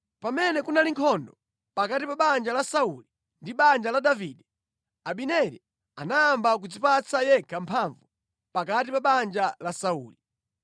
Pamene kunali nkhondo pakati pa banja la Sauli ndi banja la Davide, Abineri anayamba kudzipatsa yekha mphamvu pakati pa banja la Sauli.